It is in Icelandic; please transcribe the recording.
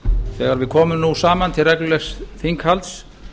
þegar við komum nú saman til reglulegs þinghalds